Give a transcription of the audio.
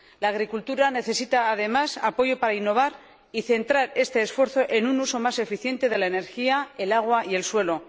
La agricultura necesita, además, apoyo para innovar y centrar este esfuerzo en un uso más eficiente de la energía, del agua y del suelo.